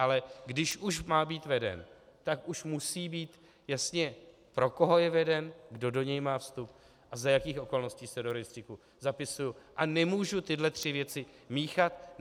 Ale když už má být veden, tak už musí být jasné, pro koho je veden, kdo do něj má vstup a za jakých okolností se do rejstříku zapisuji, a nemůžu tyhle tři věci míchat.